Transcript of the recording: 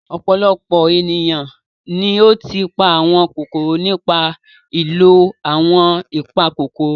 Ọ̀pọ̀lọpọ̀ ènìyàn ni ó ti pa àwọn kòkòrò nípa ìlò àwọn ìpakòkòrò.